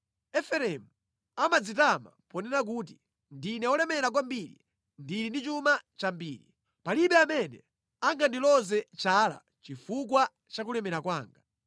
Efereimu amadzitama ponena kuti, “Ndine wolemera kwambiri; ndili ndi chuma chambiri. Palibe amene angandiloze chala chifukwa cha kulemera kwanga.”